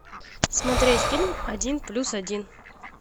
смотреть фильм один плюс один